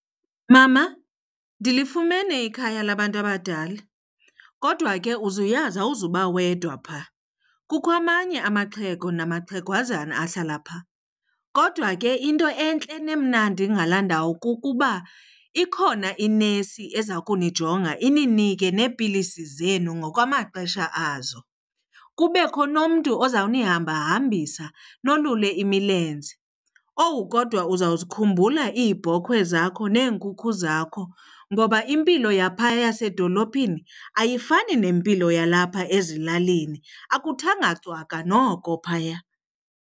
Mama, ndilifumene ikhaya labantu abadala kodwa ke uzuyazi awuzuba wedwa phaa. Kukho amanye amaxhego namaxhegwazana ahlala phaa. Kodwa ke into entle nemnandi ngalaa ndawo kukuba ikhona inesi ezakunijonga ininike neepilisi zenu ngokwamaxesha azo. Kubekho nomntu ozawunihambahambisa nolule imilenze. Owu kodwa uzawuzikhumbula iibhokhwe zakho neenkukhu zakho ngoba impilo yaphaa yasedolophini ayifani nempilo yalapha ezilalini, akuthanga cwaka noko phaya.